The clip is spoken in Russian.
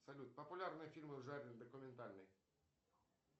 салют популярные фильмы в жанре документальный